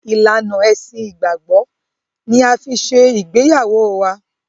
Ìlànà Ẹṣin ìgbàgbọ́ ni a fi ṣe ìgbéyàwó wá.